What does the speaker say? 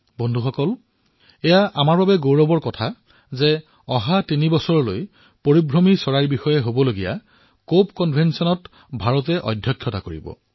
বন্ধুসকল আমাৰ বাবে গৰ্বৰ কথা যে আগন্তুক তিনিটা বৰ্ষ পৰ্যন্ত ভাৰতে প্ৰব্ৰজিত হোৱা পৰিভ্ৰমী প্ৰজাতিৰ ওপৰত অনুষ্ঠিত কপ 13 conventionৰ অধ্যক্ষতা কৰিব